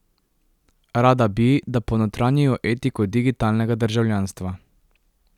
Rada bi, da ponotranjijo etiko digitalnega državljanstva.